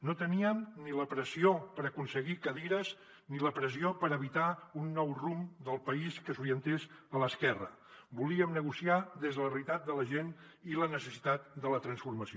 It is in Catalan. no teníem ni la pressió per aconseguir cadires ni la pressió per evitar un nou rumb del país que s’orientés a l’esquerra volíem negociar des de la realitat de la gent i la necessitat de la transformació